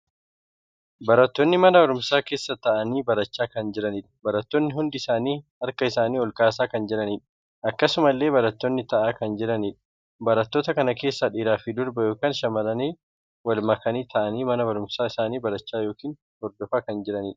Barattoonni mana barumsaa keessa taa'anii barachaa kan jiraniidha. Barattoonni hundi isaanii harka isaanii olkaasaa kan jiraniidha. Akkasumallee barattoonni taa'aa kan jiraniidha. barattoota kana keessaa dhiiraa fi dubara ykn shamarranii wal makanii taa'anii barumsa isaanii barachaa yookiin Hordofaa kan jiraniidha.